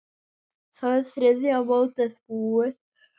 Þá er þriðja mótið búið.